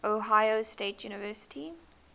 ohio state university